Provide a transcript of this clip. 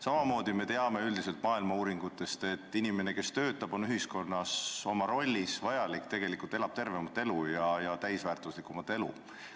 Samamoodi teame üldiselt maailmas tehtud uuringutest, et inimene, kes töötab ja on ühiskonnale oma rollis vajalik, elab tervemat ja täisväärtuslikumat elu.